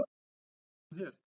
Ert þú hér!